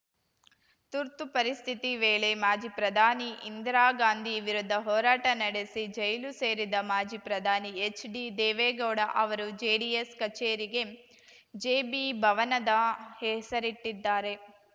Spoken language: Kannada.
ತುರ್ತು ಪರಿಸ್ಥಿತಿ ವೇಳೆ ಮಾಜಿ ಪ್ರಧಾನಿ ಇಂದಿರಾಗಾಂಧಿ ವಿರುದ್ಧ ಹೋರಾಟ ನಡೆಸಿ ಜೈಲು ಸೇರಿದ ಮಾಜಿ ಪ್ರಧಾನಿ ಎಚ್‌ಡಿದೇವೇಗೌಡ ಅವರು ಜೆಡಿಎಸ್‌ ಕಚೇರಿಗೆ ಜೆಪಿಭವನದ ಹೆಸರಿಟ್ಟಿದ್ದಾರೆ